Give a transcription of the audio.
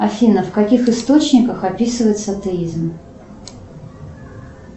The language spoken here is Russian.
афина в каких источниках описывается атеизм